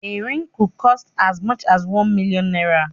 A ring could cost as much as one million naira